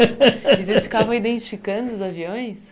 E vocês ficavam identificando os aviões?